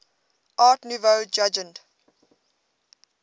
art nouveau jugend